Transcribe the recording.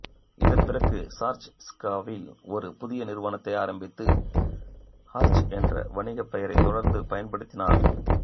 இதன்பிறகு ஹார்ச் ஸ்விக்காவ்வில் ஒரு புதிய நிறுவனத்தை ஆரம்பித்து ஹார்ச் என்ற வணிகப்பெயரை தொடர்ந்து பயன்படுத்தினார்